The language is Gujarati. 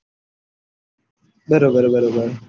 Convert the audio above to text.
બરોબર બરોબર